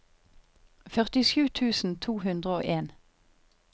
førtisju tusen to hundre og en